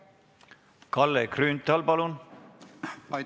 Kalle Grünthal, palun!